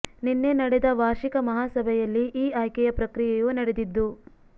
ನಿನ್ನೆ ನಡೆದ ವಾರ್ಷಿಕ ಮಹಾ ಸಭೆಯಲ್ಲಿ ಈ ಆಯ್ಕೆಯ ಪ್ರಕ್ರಿಯೆಯು ನಡೆದಿದ್ದು